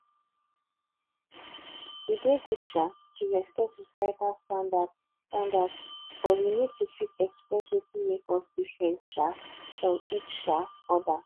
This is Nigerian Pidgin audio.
e dey good um to respect societal standards standards but we need to fit express wetin make us different um from each um other